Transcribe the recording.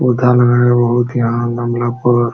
पौधा लगाया बोहोत यहाँ गमला पर --